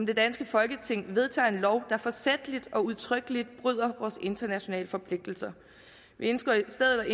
det danske folketing vedtager en lov der forsætligt og udtrykkeligt bryder vores internationale forpligtelser vi ønsker i stedet